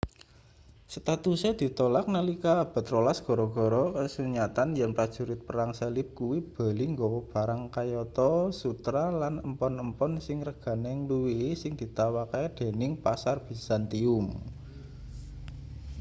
statuse ditolak nalika abad rolas gara-gara kasunyatan yen prajurit perang salib kuwi bali nggawa barang kayata sutra lan empon-empon sing regane ngluwihi sing ditawakke dening pasar bizantium